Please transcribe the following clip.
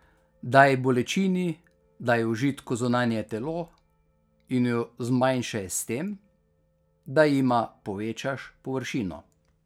Daj bolečini, daj užitku zunanje telo, in ju zmanjšaj s tem, da jima povečaš površino ...